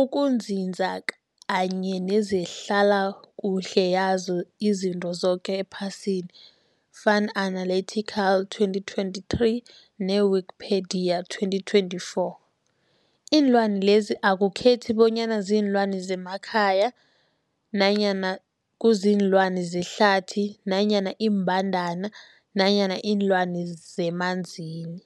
ukunzinza kanye nezehlala kuhle yazo zoke izinto ephasini, Fuanalytics 2023, ne-Wikipedia 2024. Iinlwana lezi akukhethi bonyana ziinlwana zemakhaya nanyana kuziinlwana zehlathini nanyana iimbandana nanyana iinlwana zemanzini.